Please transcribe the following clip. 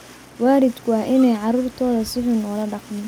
Waalidku waa in aanay carruurtooda si xun ula dhaqmin.